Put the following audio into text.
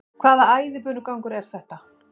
Hvaða æðibunugangur er þetta?